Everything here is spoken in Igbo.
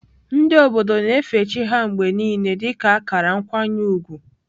Ndị obodo na-efe chi ha mgbe niile dị ka akara nkwanye ùgwù.